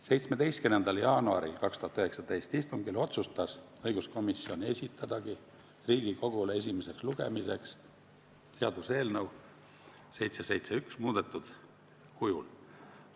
17. jaanuari 2019. aasta istungil otsustas õiguskomisjon esitada Riigikogule esimeseks lugemiseks seaduseelnõu 771 muudetud kujul.